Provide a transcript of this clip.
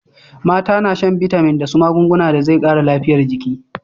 Mata na shan bitamin da su magunguna da zai kara lafiyar jiki